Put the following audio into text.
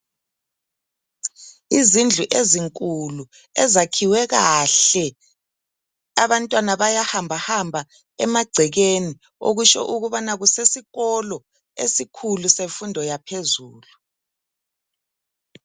Izindlu ezinkulu ezakhiwe kahle. Abantwana bayahambahamba emagcekeni okutsho ukubana kusesikolo esikhulu semfundo yaphezulu.